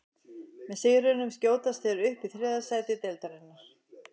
Með sigrinum skjótast þeir upp í þriðja sæti deildarinnar.